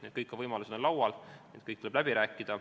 Need kõik võimalused on laual ja kõik tuleb läbi rääkida.